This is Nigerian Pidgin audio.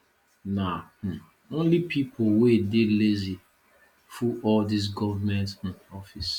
na um only pipo wey dey lazy full all dese government um office